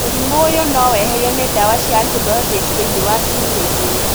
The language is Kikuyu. Mũrimũ ũyũ no weherio nĩ ndawa cia antibiotics thĩinĩ wa ciumia igĩrĩ